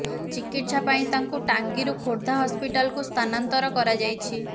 ଚିକିତ୍ସା ପାଇଁ ତାଙ୍କୁ ଟାଙ୍ଗୀରୁ ଖୋର୍ଦ୍ଧା ହସପିଟାଲକୁ ସ୍ଥାନାନ୍ତର କରାଯାଇଛି